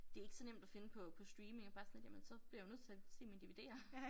Det ikke så nemt at finde på på stream mere bare sådan lidt jamen så bliver jeg jo nødt til at se mine dvd'er